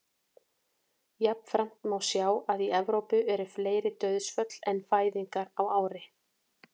Jafnframt má sjá að í Evrópu eru fleiri dauðsföll en fæðingar á ári.